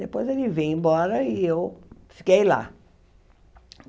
Depois ele veio embora e eu fiquei lá.